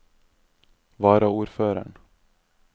varaordføreren